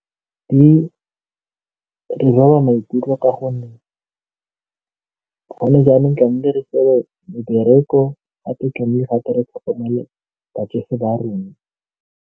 Di re ama maikutlo ka gonne gone jaanong tlamehile re mebereko gape gape re tlhokomele batsofe ba rona.